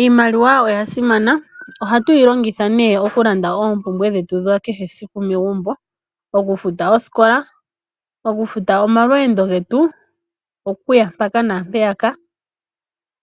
Iimaliwa oya simana, ohatu yi longitha okulanda oompumbwe dhetu dha kehe esiku megumbo, okufuta osikola, okufuta oma lweendo getu okuya mpaka naampeya ka